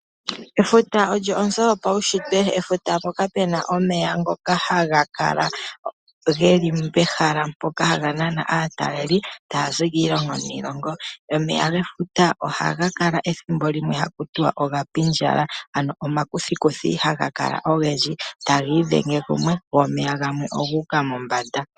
Efuta lyo onzo yopawushitwe. Efuta mpoka pena omeya ngoka haga kala geli pehala mpoka haga nana aatalelipo taya zi kiilongo niilongo. Omeya gefuta ohaga kala ethimbo limwe hakutiwa ogapindjala ano omakuthikuthi haga kala ogendji, tagiithenge kumwe go omeya gamwe oguuka mombanda.